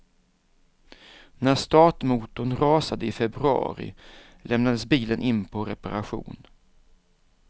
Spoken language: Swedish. När startmotorn rasade i februari lämnades bilen in på reparation.